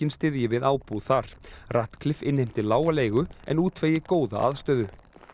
styðji við ábúð þar innheimti lága leigu en góða aðstöðu